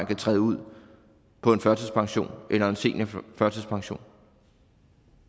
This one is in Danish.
kan træde ud på en førtidspension eller en seniorførtidspension